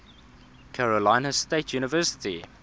carolina state university